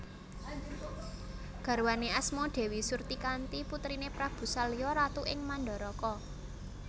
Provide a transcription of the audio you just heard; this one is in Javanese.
Garwané asma Dèwi Surtikanti putriné Prabu Salya ratu ing Mandaraka